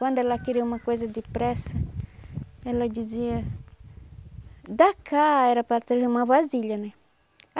Quando ela queria uma coisa depressa, ela dizia... Da cá era para trazer uma vasilha, né?